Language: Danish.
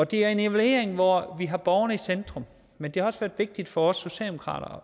det er en evaluering hvor vi har borgerne i centrum men det er også vigtigt for os socialdemokrater